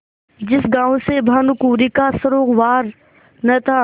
जिस गॉँव से भानुकुँवरि का सरोवार न था